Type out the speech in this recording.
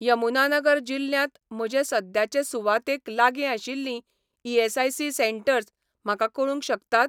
यमुनानगर जिल्ल्यांत म्हजे सद्याचे सुवातेक लागीं आशिल्लीं ईएसआयसी सेटंर्स म्हाका कळूंक शकतात?